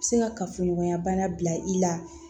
Se ka kafoɲɔgɔnya bana bila i la